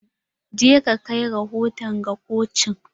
Je ka kai rahoto ga koci!